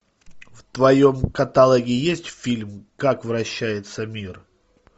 в твоем каталоге есть фильм как вращается мир